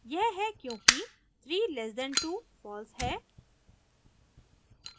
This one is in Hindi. यह है क्योंकि 3<2 फॉल्स है